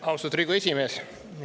Austatud Riigikogu esimees!